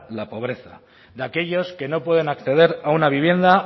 la pobreza de aquellos que no pueden acceder a una vivienda